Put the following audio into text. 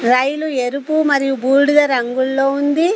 రైలు ఎరుపు మరియు బూడిద రంగుల్లో ఉంది.